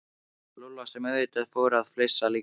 Lúlla sem auðvitað fór að flissa líka.